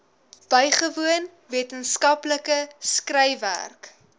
bygewoon wetenskaplike skryfwerk